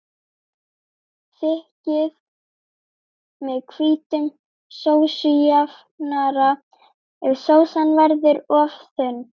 Þykkið með hvítum sósujafnara ef sósan verður of þunn.